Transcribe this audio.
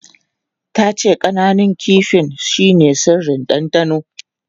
Ta ce ƙananun kifin shine sirrin dandano.